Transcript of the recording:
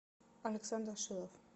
александр шилов